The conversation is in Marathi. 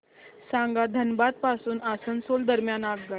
सांगा धनबाद पासून आसनसोल दरम्यान आगगाडी